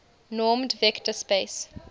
normed vector space